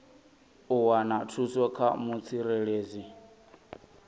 u wana thuso kha mutsireledzi